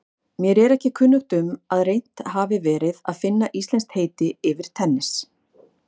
Rannsakar þátt endurskoðenda